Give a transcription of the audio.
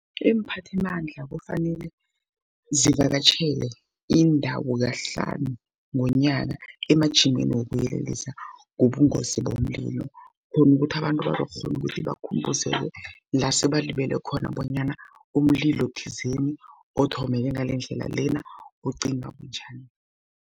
Iimphathimandla kufanele zivakatjhele indawo kahlanu ngonyaka, emajimeni wokuyelelisa ngobungozi bomlilo. Khona ukuthi abantu bangakghona ukuthi bakhumbuzeke la sebalibele khona, bonyana umlilo thizeni, othomeke ngalendlela lena ucima bunjani.